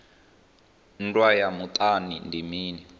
nndwa ya muṱani ndi mini